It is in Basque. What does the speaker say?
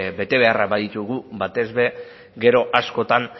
betebeharrak baditugu batez ere gero askotan